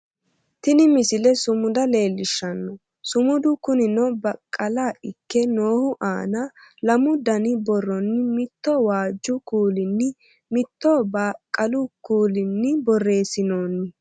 Tini misile sumuda leellishshanno sumudu kunino baqqala ikke noohu aana lamu dani borronni mitto waajju kuulinni mitto baqqalu kuulinni borreessinoonni